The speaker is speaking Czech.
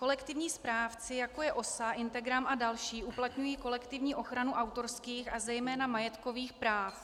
Kolektivní správci, jako je OSA, Integram a další, uplatňují kolektivní ochranu autorských a zejména majetkových práv.